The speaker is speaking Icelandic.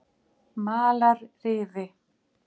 Malarrifi